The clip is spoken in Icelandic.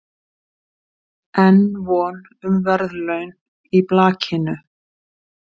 Enn von um verðlaun í blakinu